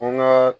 An ŋaa